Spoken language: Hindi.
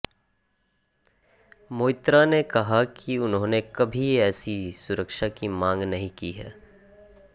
मोइत्रा ने कहा कि उन्होंने कभी ऐसी सुरक्षा की मांग नहीं की है